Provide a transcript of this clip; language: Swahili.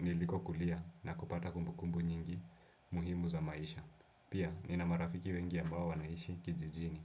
nilikokulia na kupata kumbukumbu nyingi muhimu za maisha. Pia, nina marafiki wengi ambao wanaishi kijijini.